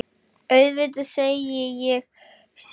Auðvitað, segi ég.